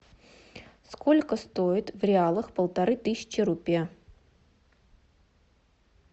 сколько стоит в реалах полторы тысячи рупия